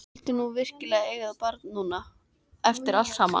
Vildi hún virkilega eiga barn núna, eftir allt saman?